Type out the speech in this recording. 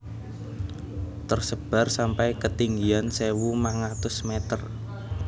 Tersebar sampai ketinggian sewu mangatus meter